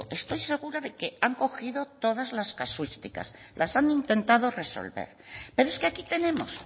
estoy segura de que han cogido todas las casuísticas las han intentado resolver pero es que aquí tenemos